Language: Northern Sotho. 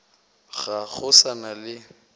ga go sa na le